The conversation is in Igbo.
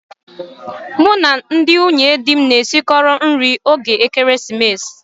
Mụ na ndị nwunye di m na-esikọ nri 'oge ekeresimesi.